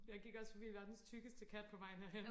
jeg gik også forbi verdens tykkeste kat på vejen herhen